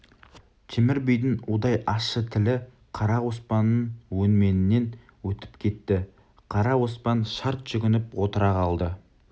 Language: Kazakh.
темір бидің удай ащы тілі қара оспанның өңменінен өтіп кетті қара оспан шарт жүгініп отыра қалды